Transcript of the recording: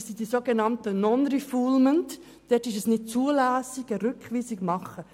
Es handelt sich um das sogenannte Non-Refoulement-Prinzip, das heisst, Rückweisungen sind unzulässig.